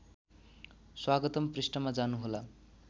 स्वागतम् पृष्ठमा जानुहोला